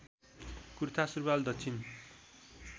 कुर्था सुरुवाल दक्षिण